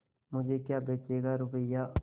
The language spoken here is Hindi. मुझे क्या बेचेगा रुपय्या